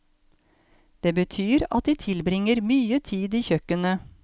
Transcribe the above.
Det betyr at de tilbringer mye tid i kjøkkenet.